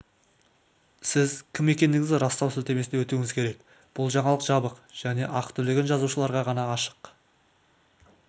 сіз кім екендігіңізді растау сілтемесіне өтуіңіз керек бұл жаңалық жабық және ақы төлеген жазылушыларға ғана ашық